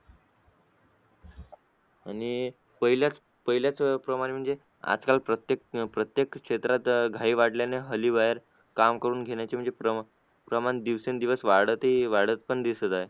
आणि पहिल्याच पहिल्याच प्रमाणे म्हणजे आजकाल प्रत्येक प्रत्येक क्षेत्रात घाई वाढल्याने अह हल्ली काम करून घेण्याचे प्रमा प्रमाण दिवसेंदिवस वाढत वाढत पण दिसत आहे.